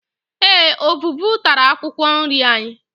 Eé, ọvụvụ tara akwụkwọ nri anyị.